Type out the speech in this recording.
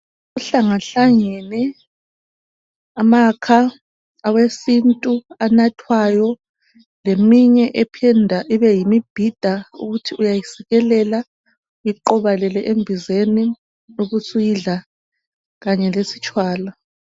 Kuhlangahlangane amakha awesintu anathwayo leminye ephinda ibeyimibhida ukuthi uyayisikelela uyiqobelele embizeni ubusuyidla kanye lesitshwala.